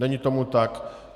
Není tomu tak.